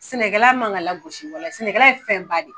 Sɛnɛ kɛla man kan ka lagosi walahi sɛnɛ kɛla ye fɛnba de ye.